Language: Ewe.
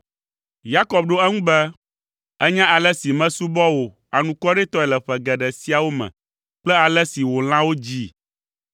Yakob ɖo eŋu be, “Ènya ale si mesubɔ wò anukwaretɔe le ƒe geɖe siawo me kple ale si wò lãwo dzii,